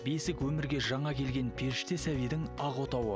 бесік өмірге жана келген періште сәбидің ақ отауы